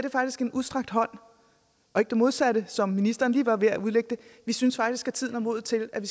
en udstrakt hånd og ikke det modsatte som ministeren var lige ved at udlægge det vi synes faktisk tiden er moden til at